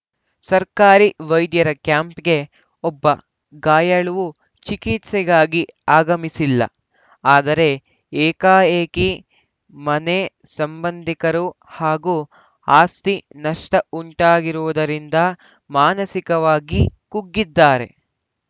ಸರ್ಕಾರಿ ವೈದ್ಯರ ಕ್ಯಾಂಪ್‌ಗೆ ಒಬ್ಬ ಗಾಯಾಳುವೂ ಚಿಕಿತ್ಸೆಗಾಗಿ ಆಗಮಿಸಿಲ್ಲ ಆದರೆ ಏಕಾಏಕಿ ಮನೆ ಸಂಬಂಧಿಕರು ಹಾಗೂ ಆಸ್ತಿ ನಷ್ಟಉಂಟಾಗಿರುವುದರಿಂದ ಮಾನಸಿಕವಾಗಿ ಕುಗ್ಗಿದ್ದಾರೆ